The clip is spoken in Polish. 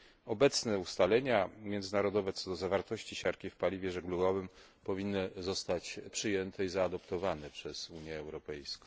Obecne ustalenia międzynarodowe, co do zawartości siarki w paliwie żeglugowym, powinny zostać przyjęte i zaadoptowane przez Unię Europejską.